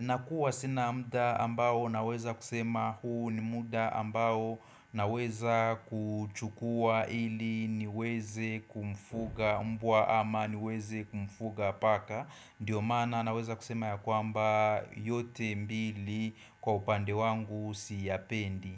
nakuwa sina mda ambao naweza kusema huu ni muda ambao naweza kuchukua ili niweze kumfuga mbwa ama niweze kumfuga paka. Ndiyo mana naweza kusema ya kwamba yote mbili kwa upande wangu siyapendi.